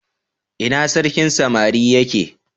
ina sarkin samari ya ke?